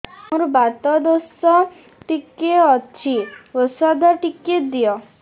ମୋର୍ ବାତ ଦୋଷ ଟିକେ ଅଛି ଔଷଧ ଟିକେ ଦିଅ